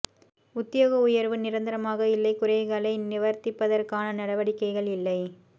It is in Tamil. உத்தியோக உயர்வு நிரந்தரமாக இல்லை குறைகளை நிவர்த்திப்பதற்கான நடவடிக்கைகள் இல்லை